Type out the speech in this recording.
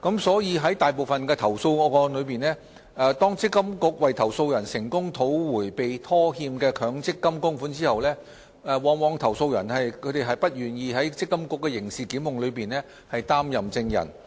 在大部分投訴個案中，當積金局為投訴人成功討回被拖欠的強積金供款後，投訴人往往不願意在積金局的刑事檢控中出任證人。